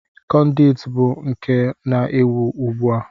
Kọnduit bụ nke na-ewi ugbu a.